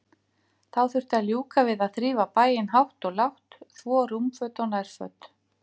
Þá þurfti að ljúka við að þrífa bæinn hátt og lágt, þvo rúmföt og nærföt.